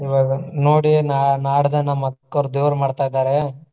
ಇವಾಗ ನೋಡಿ ನಾ~ ನಾಡದೆ ನಮ್ಮ ಅಕ್ಕವ್ರ ದೇವ್ರ ಮಾಡ್ತಾ ಇದಾರೆ.